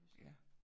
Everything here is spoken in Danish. Ja